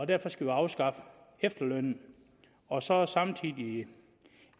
derfor skal afskaffe efterlønnen og så samtidig